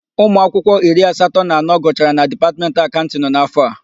Ụmụakwụkwọ iri asatọ na anọ gụchara na Dipatmentị Akaụntịnụ. n'áfọ̀ a.